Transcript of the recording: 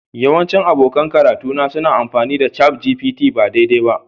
Yawancin abokan karatuna suna amfani da ChatGPT ba daidai ba